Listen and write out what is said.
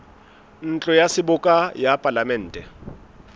ntlo ya seboka ya palamente